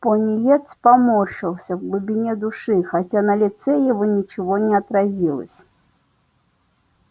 пониетс поморщился в глубине души хотя на лице его ничего не отразилось